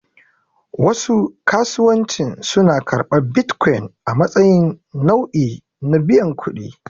Wasu kasuwancin suna karɓar bitcoin a matsayin nau'i na biyan kuɗi.